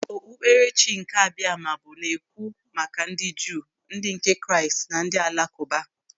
Okpukperechi nke Abiama bụ na-ekwu maka ndị Juu, ndị nke Kraịst na ndị Alakụba.